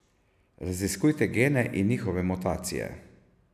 Raziskujete gene in njihove mutacije.